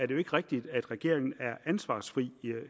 jo ikke rigtigt at regeringen er ansvarsfri